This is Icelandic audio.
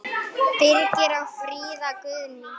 Birgir og Fríða Guðný.